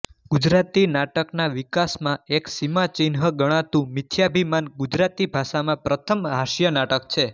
ગુજરાતી નાટકના વિકાસમાં એક સીમાચિહ્ન ગણાતું મિથ્યાભિમાન ગુજરાતી ભાષામાં પ્રથમ હાસ્ય નાટક છે